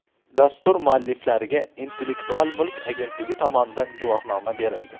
Dastur mualliflariga Intellektual mulk agentligi tomonidan guvohnoma berildi.